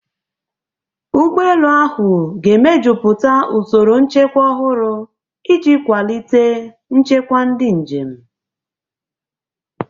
Ụgbọ elu ahụ ga-emejuputa usoro nchekwa ọhụrụ iji kwalite nchekwa ndị njem.